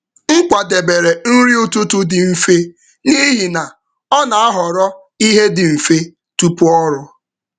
M kwadebere nri ụtụtụ dị mfe n’ihi na ọ na-ahọrọ ihe dị dị mfe tupu ọrụ.